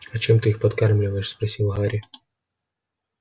а чем ты их подкармливаешь спросил гарри